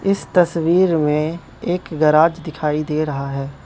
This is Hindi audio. इस तस्वीर में एक गराज दिखाई दे रहा है।